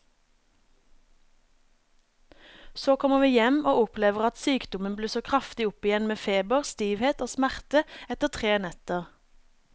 Så kommer vi hjem og opplever at sykdommen blusser kraftig opp igjen med feber, stivhet og smerter etter tre netter.